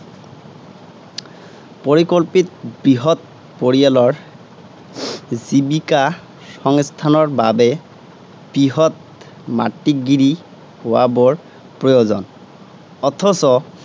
পৰিকল্পিত বৃহৎ পৰিয়ালৰ জীৱিকা-সংস্থানৰ বাবে বৃহৎ মাটিগিৰি হােৱা বৰ প্ৰয়ােজন। অথচ